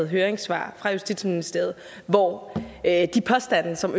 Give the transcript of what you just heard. høringssvar fra justitsministeriet hvor de påstande som